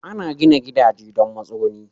Ana gina gidaje don matsuguni.